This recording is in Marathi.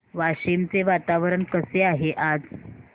वाशिम चे वातावरण कसे आहे आज